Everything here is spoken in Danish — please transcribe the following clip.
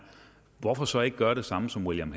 hvorfor så ikke gøre det samme som william